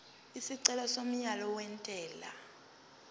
isicelo somyalo wentela